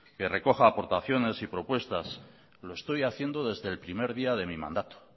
que recoja aportaciones y propuestas lo estoy haciendo desde el primer día de mí mandato